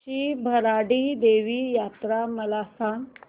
श्री भराडी देवी यात्रा मला सांग